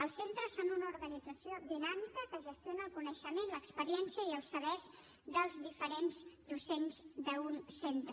els centres són una organització dinàmica que gestiona el coneixement l’experiència i els sabers dels diferents docents d’un centre